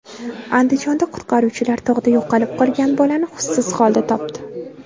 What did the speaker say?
Andijonda qutqaruvchilar tog‘da yo‘qolib qolgan bolani hushsiz holda topdi .